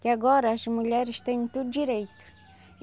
Que agora as mulheres têm tudo direito.